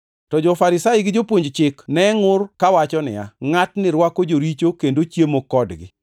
To jo-Farisai gi Jopuonj Chik ne ngʼur kawacho niya, “Ngʼatni rwako joricho kendo ochiemo kodgi.”